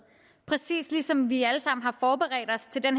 præcis som vi alle sammen har forberedt os til den